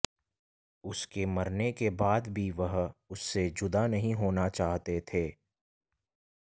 उसके मरने के बाद भी वह उससे जुदा नहीं होना चाहते थे